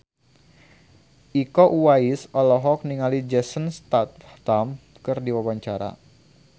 Iko Uwais olohok ningali Jason Statham keur diwawancara